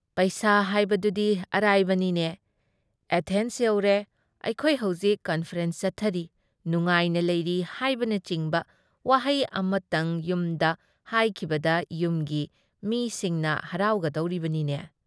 ꯄꯩꯁꯥ ꯍꯥꯏꯕꯗꯨꯗꯤ ꯑꯔꯥꯏꯕꯅꯤꯅꯦ ꯫ ꯑꯦꯊꯦꯟꯁ ꯌꯧꯔꯦ, ꯑꯩꯈꯣꯏ ꯍꯧꯖꯤꯛ ꯀꯟꯐꯔꯦꯟꯁ ꯆꯠꯊꯔꯤ, ꯅꯨꯉꯥꯏꯅ ꯂꯩꯔꯤ ꯍꯥꯏꯕꯅꯆꯤꯡꯕ ꯋꯥꯍꯩ ꯑꯃꯠꯇꯪ ꯌꯨꯝꯗ ꯍꯥꯏꯈꯤꯕꯗ ꯌꯨꯝꯒꯤ ꯃꯤꯁꯤꯅ ꯍꯔꯥꯎꯒꯗꯧꯔꯤꯕꯅꯤꯅꯦ ꯫